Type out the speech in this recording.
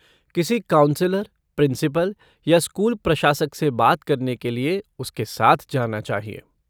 किसी counsellor, principal या school प्रशासक से बात करने के लिए उसके साथ जाना चाहिए।